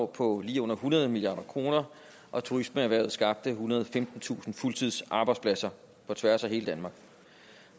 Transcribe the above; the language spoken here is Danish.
på lige under hundrede milliard kr og turismeerhvervet skabte ethundrede og femtentusind fuldtidsarbejdspladser på tværs af hele danmark